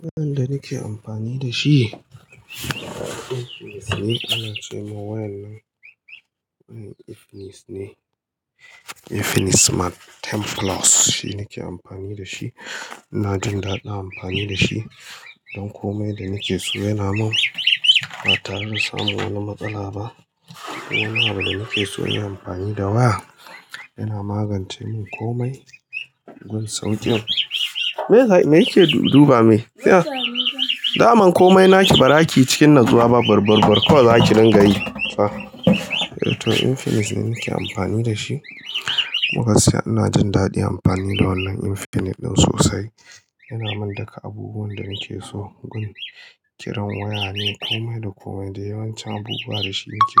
Wayan da nake amfani dashi. Infinix ne, anace wa wayar nan Infinix ne. Infinix Smart 10 Plus shi nake amfani dashi. Ina jin daɗin amfani da shi don komai danake so yana min. Batare da samun wani matsala ba. Duk wani abu danake so inyi amfani da wa yana magance min komai. Gun sauƙin. Me yake duba mai? Daman komai naki ba zakiyi cikin natsuwa ba. Barbar kawai zaki dinga yi fa. To Infinix ne nake amfani dashi. Agasiya inajin daɗin amfani da wannan Infinix ɗin sosai. Yana mun duka abubuwan danake so. Gun, kiran wayane komai dakomai da yawancin abubuwa dashi nake.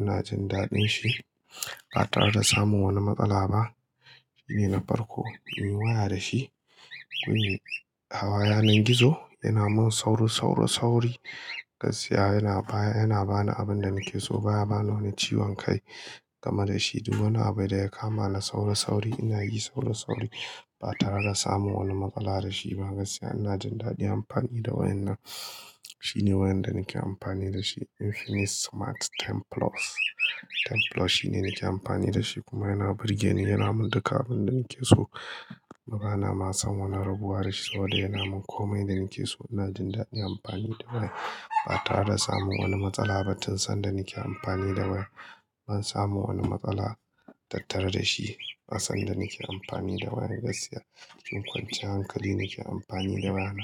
Inajin dadinshi ba tare da samun wani matsala ba. Shine na farko muyi waya dashi. Gun, hawa yanan gizo yana mun sauri, sauri, sauri. Gasiya yana baya, yana bani abinda nakeso. Ba yabani wani ciwon kai game dashi. Duk wani abu daya kama da sauri, sauri inayin sauri, sauri ba tare da samun wani matsala dashi ba. Gasiya inajin daɗin amfani da wayar nan. Shine wayar danake amfani dashi Infinix Smart 10 Plus. 10 Plus shine nake amfani dashi kuma yana burgeni. Yana mun duka abinda nakeso. Bana samun wani rabuwa dashi saboda yana mun komai da nakeso. Ina jin daɗin amfani da wayar ba tare da samun wani matsala ba. Tun sanda nake amfani da wayar ban samu wani matsala tattare dashi. Tun sanda nake amfani da wayar gasiya cikin kwanciyar hankali nake amfani da wayar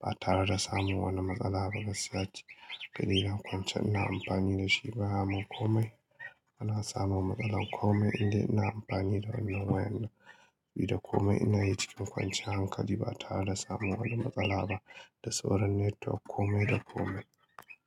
b tare da samun wani matsala ba. Gaskiya cikin ƙa'idar kwance ina amfani dashi baya mun komai. Bana samun matsala komai inda ina amfani da wannan wayar nan. Bida komai inayi cikin kwanciyar hankali ba tare da samun wani matsala ba. Da sauran network komai da komai.